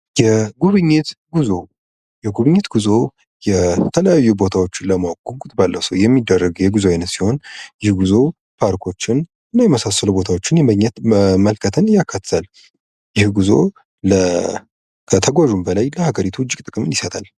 የጉብኝት ጉዞ የጉብኝት ጉዞ የተለያዩ ቦታዎችን ለማወቅ ጉጉት ባለው ሰው የሚደረግ የጉዞ ዓይነት ሲሆን ይህ ጉዞ ፓርኮችን እና የመሳሰሉ ቦታዎችን መመልከትን ያካትታል ይህ ጉዞ ከተጓዦችን በላይ ለሃገሪቱ እጅግ ብዙ ጥቅም ይሰጣል።